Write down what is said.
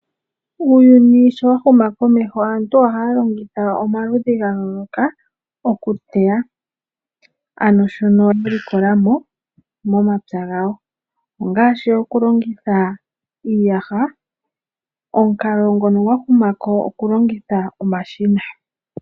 Uuyuni sho wa huma komeho, aantu ohaya longitha omaludhi ga yooloka oku teya, ano shono ya likola mo momapya gawo, ongaashi oku longitha iiyaha, omukalo ngono gwa huma ko oku longitha omashina.